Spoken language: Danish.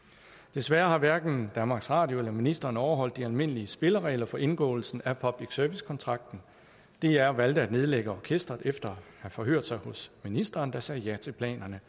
desværre har hverken danmarks radio eller ministeren overholdt de almindelige spilleregler for indgåelsen af public service kontrakten dr valgte at nedlægge orkestret efter have forhørt sig hos ministeren der sagde ja til planerne